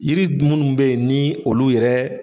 Yiri munnu be yen ni olu yɛrɛ